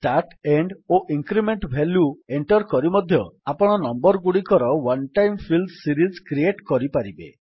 start end ଓ increment value enter କରି ମଧ୍ୟ ଆପଣ ନମ୍ୱର୍ ଗୁଡ଼ିକର one time fill series create କରିପାରିବେ